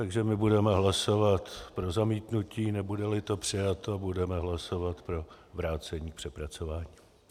Takže my budeme hlasovat pro zamítnutí, nebude-li to přijato, budeme hlasovat pro vrácení k přepracování.